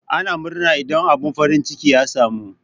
Ana murna idan abun farin ciki ya samu.